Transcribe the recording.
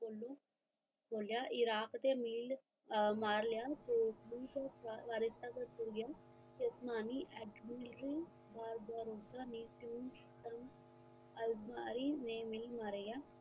ਬੋਲਿਆ ਇਰਾਕ ਤੇ ਮਿਲ ਮਾਰ ਲਿਆ ਅਸਮਾਨੀ ਅਡਮੇਨਿਮ